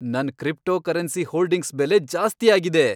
ನನ್ cryptocurrency holdings ಬೆಲೆ ಜಾಸ್ತಿ ಆಗಿದೆ.